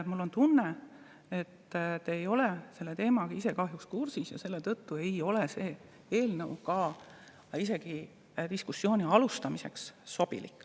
Mul on tunne, et te kahjuks ei ole selle teemaga kursis ja selle tõttu ei ole see eelnõu isegi diskussiooni alustamiseks sobilik.